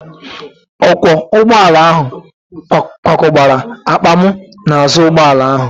Ọkwọ ụgbọala ahụ kwakọbara akpa m n'azụ ụgbọala ahụ.